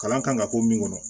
Kalan kan ka k'o min kɔnɔ